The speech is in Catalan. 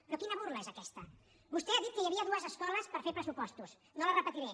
però quina burla és aquesta vostè ha dit que hi havia dues escoles per fer pressu·postos no les repetiré